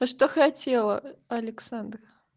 а что хотела александра